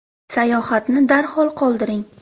Sayohatni darhol qoldiring”.